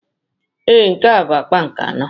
Ee, nke a bụ akpa nke anọ